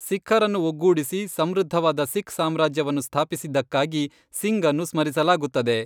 ಸಿಖ್ಖರನ್ನು ಒಗ್ಗೂಡಿಸಿ, ಸಮೃದ್ಧವಾದ ಸಿಖ್ ಸಾಮ್ರಾಜ್ಯವನ್ನು ಸ್ಥಾಪಿಸಿದ್ದಕ್ಕಾಗಿ ಸಿಂಗ್ಅನ್ನು ಸ್ಮರಿಸಲಾಗುತ್ತದೆ.